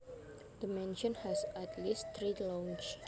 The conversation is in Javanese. The mansion has at least three lounges